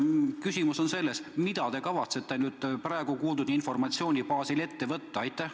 Küsimus on selline: mida te kavatsete nüüd kuuldud informatsiooni baasil ette võtta?